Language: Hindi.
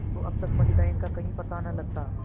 तो अब तक पंडिताइन का कहीं पता न लगता